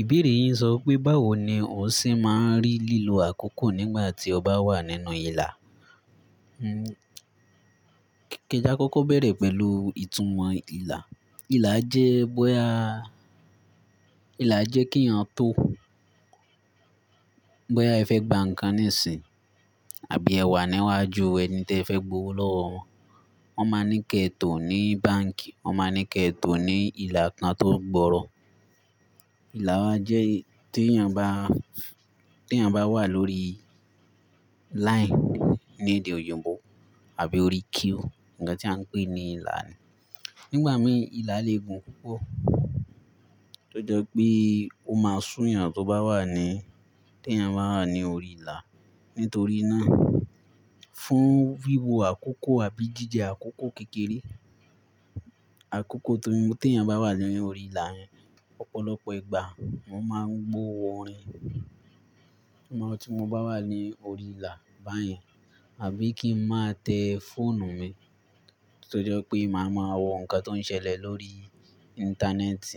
Ìbéèrè yin sọ wipé, báwo ni o ṣe máa ń rí lílo àkókò nígbà tí o bá wà nínú ìlà? Ke'ja ka kókó bẹ̀rẹ̀ pẹ̀lú ìtúmọ̀ ìlà. Ìlà jẹ́ bóya-- ìlà jẹ́ kí ẹ̀yàn tó, bóya ẹ fẹ́ gba ǹkan níìsín, àbí ẹ wà níwájú ẹni tí ẹ fẹ́ gbowó lọ́wọ́ wọn. Wọn máa ńí kẹ tò ní báǹkì, wọ́n má ńí kẹ tò ní ìlà kan tó gbọ̀ọ̀rọ̀. Ìlà wa jẹ́ tí ẹ̀yàn bá, tí ẹ̀yàn bá wà lórí line ní èdè òyìnbó àbí orí queue, ǹkan tí a ń pè ní ìlà ni. Nígbà mìí, ìlà lè gùn púpọ̀, tó jẹ́ pé o máa sún ẹ̀yàn tó bá wà ní, tí ẹ̀yàn bá wà ní orí ìlà. Nítorí náà, fún wíwo àkókò àbí jíjẹ àkókò kékeré, àkókò tí, tí ẹ̀yàn bá wà ní orí ìlà yẹn, ọ̀pọ̀lọpọ̀ ìgbà mo máa ń gbo orin. Mo máa tú tí mo bá wà ní orí ìlà báyìí, àbí kí ń máa tẹ fóònù mi, tó jẹ́ pé màá mọ àwọn ǹkan tó ń ṣẹlẹ̀ lórí íńtánẹ́ẹ̀tì.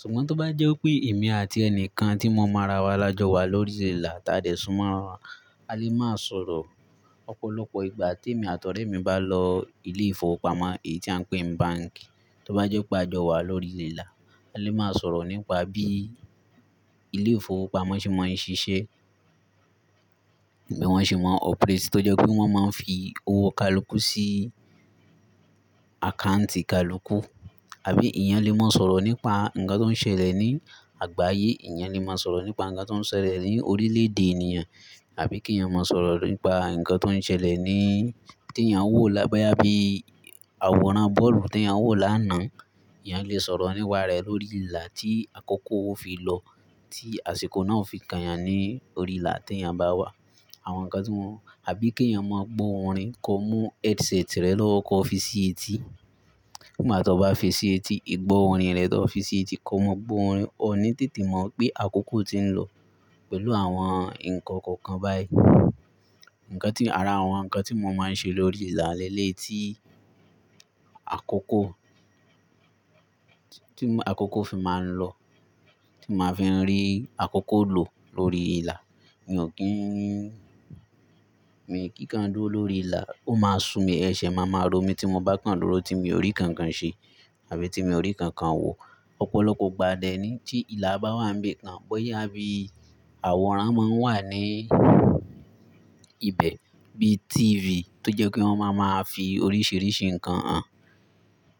Ṣùgbọ́n tó bá jẹ́ pé èmi àti ẹni kan tí mo máa ra wá lájọ wà lórí ìlà, tàa dẹ̀ súnmọ́ra, a lè máa sọ̀rọ̀. Ọ̀pọ̀lọpọ̀ ìgbà tí èmi àtọ̀ọ́rẹ́ mi bá lọ ilé-ìfowópamọ́, èyí tí à ń pè ní báǹkì, tó bá jẹ́ pé a jọ wà lórí ìlà, a lè máa sọ̀rọ̀ nípa bí ilé-ìfowópamọ́ ṣe máa ń ṣiṣẹ́, bí wọ́n ṣe máa ń operate. Tó jẹ́ pé wọ́n máa ń fi owó kalùkù sí àkáǹtì kalùkù, àbí ẹ̀yàn lè máa sọ̀rọ̀ nípa ǹkan tó ń ṣẹlẹ̀ ní àgbáyé, ẹ̀yàn lè máa sọ̀rọ̀ nípa ǹkan tó ń ṣẹlẹ̀ ní orílẹ̀-èdè ènìyàn, àbí kí ẹ̀yàn máa sọ̀rọ̀ nípa ǹkan tó ń ṣẹlẹ̀ ní, tí ẹ̀yàn wò lá, boyà bí àwòrán bọ́ọ̀lù tí ẹ̀yàn wò lánàá, ẹ̀yàn lè sọ̀rọ̀ nípaarẹ lórí ìlà tí àkókò ó fi lọ, tí àsìkò náà o fi kan ẹ̀yàn ní orí ìlà tí ẹ̀yàn bá wà. Àwọn ǹkan tí wọ́n-- àbí kí ẹ̀yàn máa gbo orin, kó mú headset rẹ̀ lọ́wọ́, ko fi sí etí. Nígbà tí o bá fi sí etí, ìgbọ́ orin rẹ tó fi sí etí kó mọ gbo orin, o ní tètè mọ̀ pé àkókò ti ń lọ pẹ̀lú àwọn ǹkan kọ̀ọ̀kan báyìí. Ǹkan tí, ara àwọn ǹkan tí mo máa ń ṣe lórí ìlà lẹ́lẹ̀yi tí àkókò tí àkókò fi máa ń lọ, tí mo máa fi ń rí àkókò lò lórí ìlà. Mi ò kí ń, mi kì í kan dúró lórí ìlà, ó máa súu mi, ẹ̀ṣẹ̀ máa ma rọ̀ mí tí mo bá kan dúró tí mi ò rí nkankan ṣe àbí tí mi ò rí nkankan wò. Ọ̀pọ̀lọpọ̀ ìgbà dẹ́nìí tí ìlà bá wà ń bi kan bóyá bí àwòrán máa ń wà ní ibẹ̀ bí tífì tó jẹ́ pé wọ́n máa máa fi oríṣiríṣi ǹkan hàn,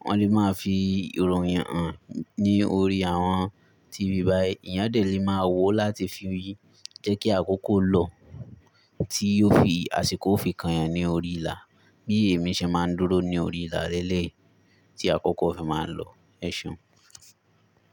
wọ́n lè máa fi ìròyìn hàn ní orí àwọn tífì báyìí. Ẹ̀yàn dẹ́ lemáa wò láti fi rí je kí àkókò lọ, tí ó fi, àsìkò ó fi kan ẹ̀yàn ní orí ìlà bí èmi ṣe máa ń dúró ní orí ìlà lẹ́lẹ̀ tí àkókò fi máa ń lọ. Ẹ̀ṣeun.